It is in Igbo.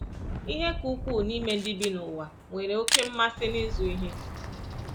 Ihe ka ukwuu n’ime ndị bi n’ụwa nwere oké mmasị n’ịzụ ihe.